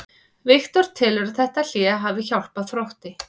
Viktor telur að þetta hlé hafi hjálpað Þrótti.